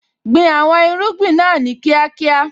Gbin àwọn irúgbìn náà ní kíákíá.